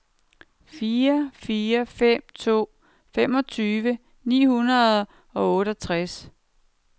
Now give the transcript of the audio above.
fire fire fem to femogtyve ni hundrede og otteogtres